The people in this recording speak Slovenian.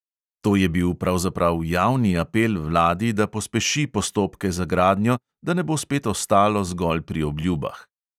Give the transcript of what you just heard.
To je bil pravzaprav javni apel vladi, da pospeši postopke za gradnjo, da ne bo spet ostalo zgolj pri obljubah.